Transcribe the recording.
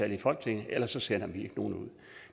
i folketinget ellers sender vi nogen ud